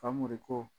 Famori ko